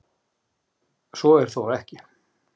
Svo er þó ekki